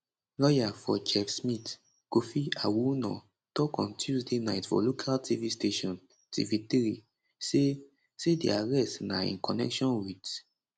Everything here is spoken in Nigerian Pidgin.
lawyer for chef smith kofi awoonor tok on tuesday night for local tv station tv3 say say di arrest na in connection wit